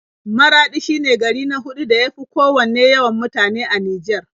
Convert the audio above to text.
Maraɗi shine gari na huɗu da ya fi kowanne yawan mutane a Nijar.